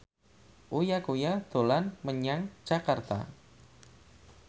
Uya Kuya dolan menyang Jakarta